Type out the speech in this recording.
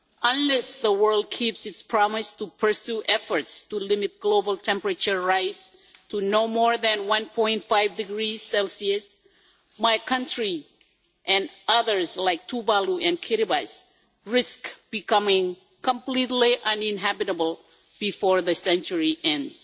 Unless the world keeps its promise to pursue efforts to limit global temperature rise to no more than 1.5 degrees Celsius my country and others like Tuvalu and Kiribati risk becoming completely uninhabitable before the century ends.